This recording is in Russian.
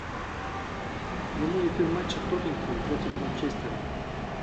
прямой эфир матча тоттенхэм против манчестера